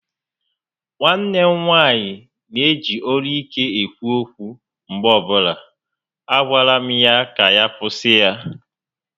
Nwanne m nwaanyị neji olu ike ekwu okwu mgbe ọbụla, a gwala m ya ka ya kwụsị ya